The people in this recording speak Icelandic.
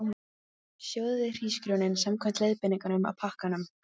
Sjóðið hrísgrjónin samkvæmt leiðbeiningum á pakkanum.